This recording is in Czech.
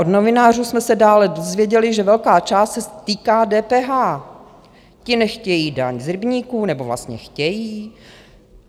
Od novinářů jsme se dále dozvěděli, že velká část se týká DPH, ti nechtějí daň z rybníků, nebo vlastně chtějí?